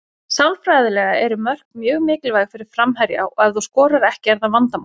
Sálfræðilega eru mörk mjög mikilvæg fyrir framherja og ef þú skorar ekki er það vandamál.